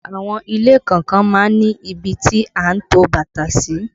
Àwọn ilé kọ̀ọ̀kan má ń ní ibi tí a ń to bàtà sí